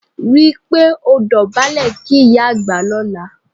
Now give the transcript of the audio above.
Rí i pé ò dọ̀bálẹ̀ kí ìyá àgbà lọ́la